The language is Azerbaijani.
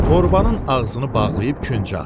Torbanın ağzını bağlayıb küncə atdı.